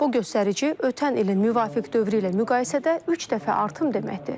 Bu göstərici ötən ilin müvafiq dövrü ilə müqayisədə üç dəfə artım deməkdir.